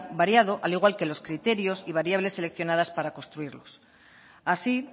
variado al igual que los criterios y variables seleccionadas para construirlos así